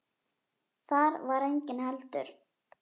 Þar var enginn heldur.